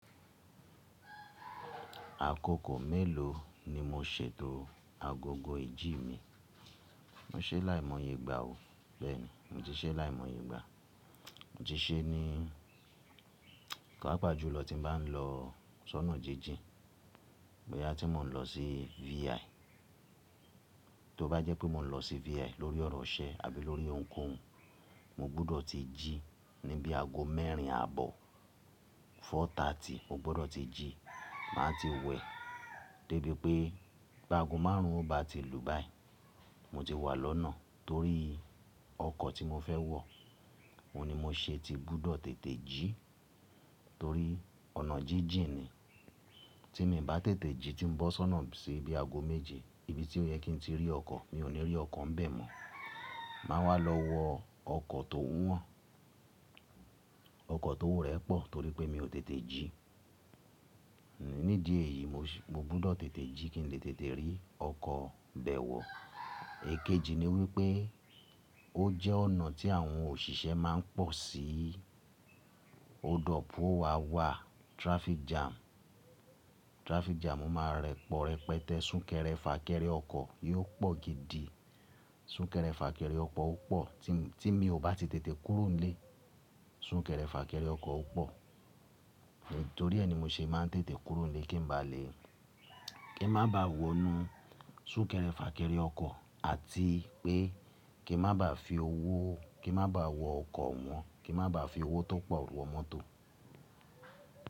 Àkókò mélòó ni mo ṣe tó agogo ìjí mi? Mo ṣe láìmọye ìgbà o bẹ́ẹ̀ni, mo ti ṣe láìmọye ìgbà Mo ti se ní paapaa ju lọ tí n bá lọ sọ́nà jíjìn, boya tí mo n lọ sí VI. Tó bá jẹ́ pé mo n lọ sí VI lórí ọ̀rọ̀ iṣẹ́ àbí lórí ohunkóhun, mo gbúdọ̀ ti jí níbí ago mẹ́rin àbọ̀, four thirty mo gbúdọ̀ ti jí. Màá ti wẹ, dé bí i pé bi ago márùn ún o bá ti lù báyìí mo ti wà lọ́nà torí ọkọ̀ tí mo fẹ́ wọ̀. Ohun ni mo ṣe ti gbúdọ̀ tètè jí torí ọ̀nà jíjìn ni. Tí mì bá tètè jí tí n bó ṣọ́nà síbí ago méje, ibi tí ó yẹ kí n tí rí ọkọ̀, mi ò ní rí ọkọ̀ ń bẹ̀ mọ́. Màá wà á lọ wọ ọkọ̀ tó wọ́n, ọkọ̀ ti owo rẹ pọ̀ torí pé mi ò tètè jí. Nídi èyí mo si mo gbúdọ̀ tètè jí kí n lè tètè rí ọkọ̀ bẹ̀ wọ̀. Èkejì ni wípé ó jẹ́ ọ̀nà tí àwọn òṣìṣẹ́ máa ń pọ̀ sí, o dọ̀pù o wá wà traffic jam. Traffic jam, o máa rẹpọ̀ rẹpẹtẹ́, sún kẹrẹ, fà kẹrẹ ọkọ̀ yóò pọ̀ gidi. Sún kẹrẹ fà kẹrẹ ọkọ̀ ó pọ̀ ti mi tí mi ò bá ti tètè kúrò nílé. Sún kẹrẹ fà kẹrẹ ọkọ̀ ó pọ̀. Nítorí ẹ́ ni mo ṣe máa n tètè kúrò nílé kí n bá lè kí n má baà wọnu sún kẹrẹ fà kẹrẹ ọkọ̀ àti pé kí n má baà fi owó, kí n má baà wọ ọkọ̀ owọ́n, kí n má baà fi owó tó pọ̀ wọ mọ́tò.